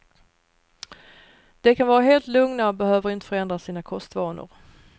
De kan vara helt lugna och behöver inte förändra sina kostvanor.